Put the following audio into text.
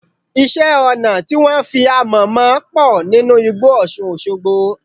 Iṣẹ́-ọnà tí wọ́n fi amọ̀ mọ pọ̀ nínú igbó Ọṣùn Òṣogbo.